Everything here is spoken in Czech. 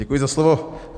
Děkuji za slovo.